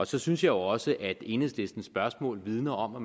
så synes jeg også at enhedslistens spørgsmål vidner om at